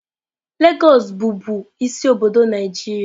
Lagos bụbu isi obodo Naịjirịa.